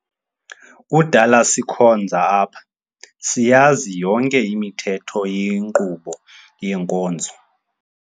Kudala sikhonza apha, siyazi yonke imithetho yenkqubo yenkonzo.